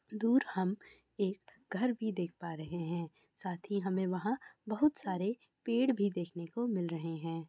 दूर हम एक घर भी देख पा रहे हे साथ ही हमें वहाँ बहुत सारे पेड़ भी देखने को मिल रहे हे।